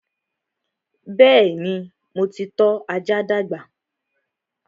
Bẹ́ẹ̀ni, mo ti tọ́ ajá dàgbà rí